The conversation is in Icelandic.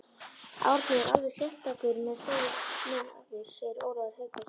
Árni er alveg einstakur maður segir Ólafur Haukur.